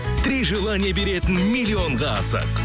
три желание беретін миллионға асық